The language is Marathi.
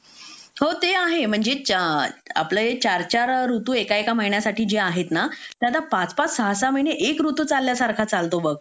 होते आहेच म्हणजे चार आपले चार चार ऋतू एका एका महिन्यासाठी आहेत ना आता पाच पाच सहा सहा महिने एक ऋतू चालल्यासारखा चालतो बघ